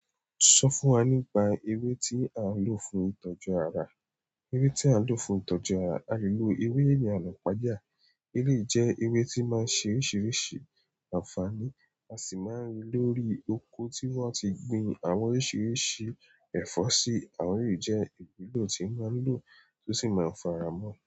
Sọ fún wa nípa ewe tí a ń lò fún ìtọ́jú ara. Ewé tí a ń lò fún ìtọ́jú ara, a lè lo ewé iyana ipaja. Ewé yìí jẹ́ ewé tí máa ń ṣe oríṣiríṣi àǹfààní, a sì máa ń rí lórí òko tí wọ́n ti gbin àwọn oríṣiríṣi ẹ̀fọ́ sí, àwọn eleyìí jẹ́ ìwúlò tí n máa ń lò tó sì máa ń faramọ́